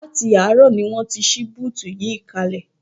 Láti àárọ̀ ni wọ́n ti ṣí búùtù yìí kalẹ̀